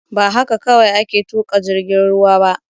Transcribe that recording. Ba haka kawai ake tuƙa jirgin ruwa ba